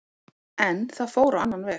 En það fór á annan veg.